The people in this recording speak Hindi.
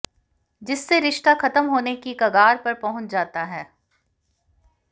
जिससे रिश्ता खत्म होने की कगार पर पहुंच जाता है